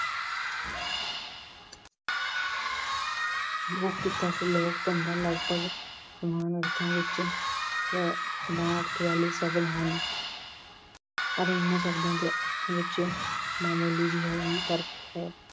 ਲੋਕ-ਕਿੱਤਾ ਅਤੇ ਲੋਕ-ਧੰਦਾ ਲਗਭਗ ਸਮਾਨ ਅਰਥਾਂ ਵਿੱਚ ਅਹ ਸਮਾਨ ਅਰਥ ਵਾਲੇ ਸ਼ਬਦ ਹਨ। ਪਰ ਇਹਨਾਂ ਸ਼ਬਦਾਂ ਦੇ ਅਰਥਾਂ ਵਿੱਚ ਮਾਮੂਲੀ ਜਿਹਾ ਹੀ ਫਰਕ ਹੈ।